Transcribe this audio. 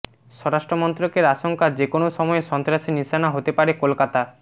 স্বরাষ্ট্রমন্ত্রকের আশঙ্কা যেকোনও সময়ে সন্ত্রাসের নিশানা হতে পারে কলকাতা